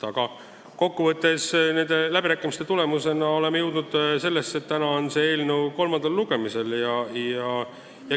Aga kokkuvõttes oleme nende läbirääkimiste tulemusena jõudnud selleni, et täna on see eelnõu kolmandal lugemisel.